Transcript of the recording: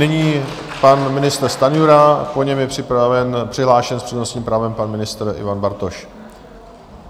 Nyní pan ministr Stanjura, po něm je přihlášen s přednostním právem pan ministr Ivan Bartoš.